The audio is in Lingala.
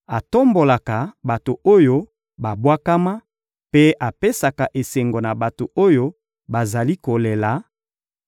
atombolaka bato oyo babwakama, mpe apesaka esengo na bato oyo bazali kolela;